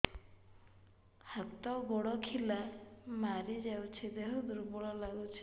ହାତ ଗୋଡ ଖିଲା ମାରିଯାଉଛି ଦେହ ଦୁର୍ବଳ ଲାଗୁଚି